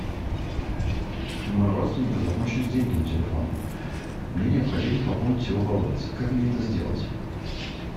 у моего родственника закончились деньги на телефоне мне необходимо пополнить его баланс как мне это сделать